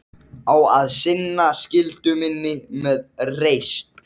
Hló þá Sveinn mót himninum og hrópaði: